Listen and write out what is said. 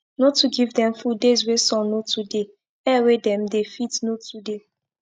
no too give them food days wey sun no too deyair wey them dey fit no too dey